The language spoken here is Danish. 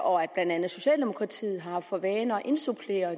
og at blandt andet socialdemokratiet har haft for vane at indsupplere